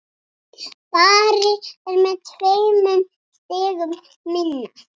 Bari er með tveimur stigum minna.